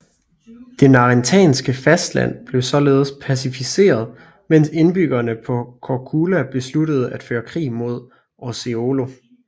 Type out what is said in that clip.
Det narentanske fastland blev således pacificeret mens indbyggerne på Korčula besluttede at føre krig mod Orseolo